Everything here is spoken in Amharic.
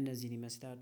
እነዚህን ይመስላሉ